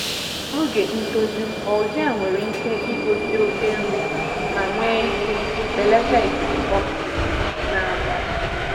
Oge ntoju algae nwere ike igosi oke nri ma nwee ike belata ikuku oxygen n'abalị.